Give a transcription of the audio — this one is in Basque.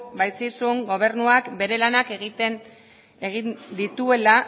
baitzizun gobernuak bere lanak egin dituela